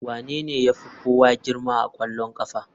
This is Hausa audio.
Wanene ya fi kowa girma a ƙwallon ƙafa?